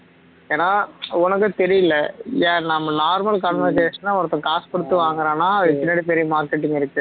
ஏன்னா உனக்கும் தெரியல்ல நம்ம normal அ ஒருத்தன் காசு குடுத்து வாங்குறான்னா அதுக்கு பின்னாடி பெரிய marketing இருக்கு